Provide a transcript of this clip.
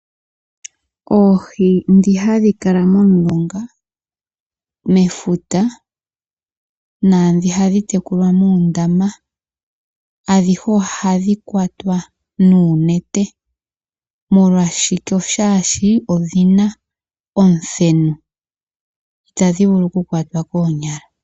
Oohi ndhi hadhi kala momulonga, mefuta naandhi hadhi tekulwa muundama, adhihe ohadhi kwatwa nuunete. Molwashike? Oshaashi odhi na omuthenu. Itadhi vulu okukwatwa koonyala.